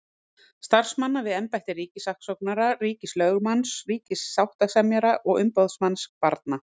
Starfsmanna við embætti ríkissaksóknara, ríkislögmanns, ríkissáttasemjara og umboðsmanns barna.